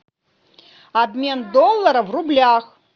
обмен доллара в рублях